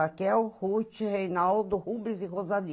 Raquel, Ruth, Reinaldo, Rubens e Rosali.